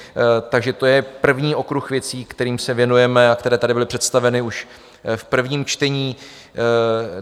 Takže to je první okruh věcí, kterým se věnujeme a které tady byly představeny už v prvním čtení.